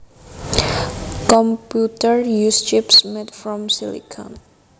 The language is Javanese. Computers use chips made from silicon